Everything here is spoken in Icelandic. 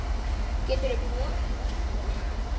Geturðu borið ömmu út fyrir?